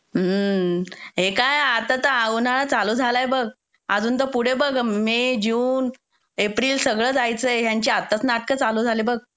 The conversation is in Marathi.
मं. हे काय आत्ता तर हा उन्हाळा चालु झालाय बघ. अजून तर पुढे बघ मे, जून, एप्रिल सगळं जायचंय, ह्यांची आत्ताच नाटकं चालू झाले बघ.